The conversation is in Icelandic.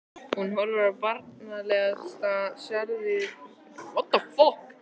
Hún horfir barnslega særðum augum á manninn.